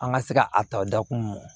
An ka se ka a ta dakun